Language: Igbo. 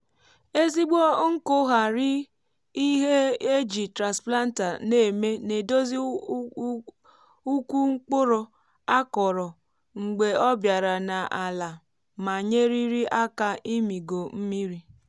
ezigbo nkụ ghari ihe éjị transplanter nà èmé na edozi úkwù mkpụrụ a kọrọ mgbè obiara nà àlà ma nyérírí áká ìmìgo mmiri.